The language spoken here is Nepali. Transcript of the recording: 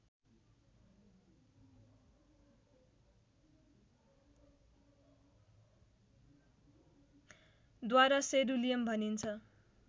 द्वारा सेरुलियम भनिन्छ